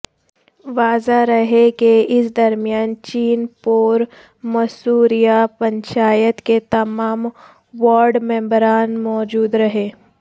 واضح رہے کہ اس درمیان چین پور مصوریہ پنچایت کے تمام وارڈ ممبران موجود رہے